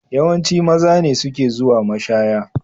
Yawanci maza ne suke zuwa mashaya.